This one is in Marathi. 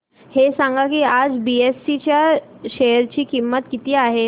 हे सांगा की आज बीएसई च्या शेअर ची किंमत किती आहे